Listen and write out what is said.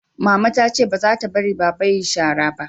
mama ta ce ba za ta bari baba ya yi shara ba